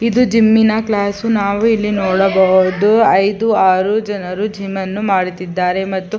ಇದು ಜಿಮ್ಮಿನ ಕ್ಲಾಸ್ ನಾವು ಇಲ್ಲಿ ನೋಡಬಹುದು ಐದು ಆರು ಜನರು ಜಿಮ್ಮನ್ನು ಮಾಡುತ್ತಿದ್ದಾರೆ ಮತ್ತು --